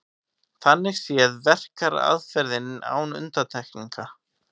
Þannig séð verkar aðferðin án undantekningar.